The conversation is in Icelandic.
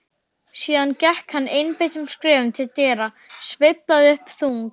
Síðan gekk hann einbeittum skrefum til dyra, sveiflaði upp þung